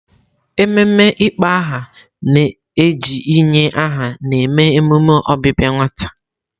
Ememe ịkpọ aha na-eji inye aha na-eme emume ọbịbịa nwata.